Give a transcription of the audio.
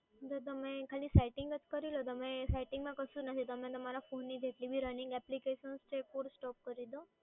તો તમે setting જ કરી લો setting માં કશું જ નથી તમારા PHONE ની જેટલીબી application છે એ તમે force stop કરી લો